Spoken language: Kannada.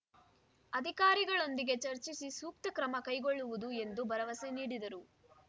ಅಧಿಕಾರಿಗಳೊಂದಿಗೆ ಚರ್ಚಿಸಿ ಸೂಕ್ತ ಕ್ರಮ ಕೈಗೊಳ್ಳಲಾಗುವುದು ಎಂದು ಭರವಸೆ ನೀಡಿದರು